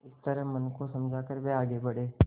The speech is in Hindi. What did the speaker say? इस तरह मन को समझा कर वे आगे बढ़े